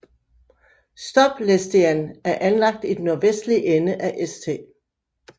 Stoplesteinan er anlagt i den nordvestlige ende af St